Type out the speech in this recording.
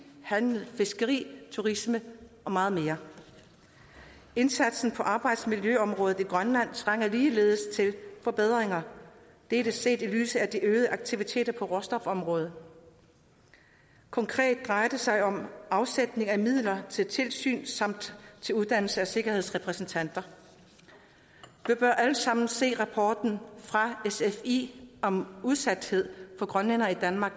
handel fiskeri turisme og meget mere indsatsen på arbejdsmiljøområdet i grønland trænger ligeledes til forbedringer dette set i lyset af de øgede aktiviteter på råstofområdet konkret drejer det sig om afsætning af midler til tilsyn samt til uddannelse af sikkerhedsrepræsentanter vi bør alle sammen se rapporten fra sfi om udsathed for grønlændere i danmark